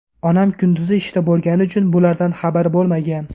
Onam kunduzi ishda bo‘lgani uchun bulardan xabari bo‘lmagan.